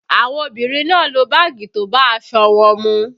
Àwọn obìnrin náà lo báàgì tó bá aṣọ wọn mu